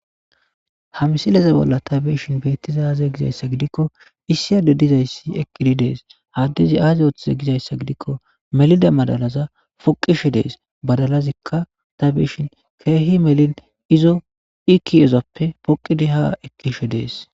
Ha msileze bolla tabeshin beettiza aaze gizayssa gidikko issiyade dizayssi ekidi dees haddezi aazi oothize gizayssa gidikko melida madalaza poqishe dees badalazikka tabishin keehi melin izo ikiezappe poqidi ha ekkishe dees.